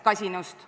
Kasinust.